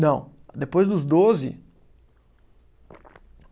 Não. Depois dos doze.